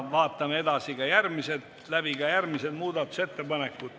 Vaatame läbi ka järgmised muudatusettepanekud.